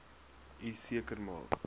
u seker maak